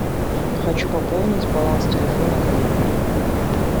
хочу пополнить баланс телефона коллеги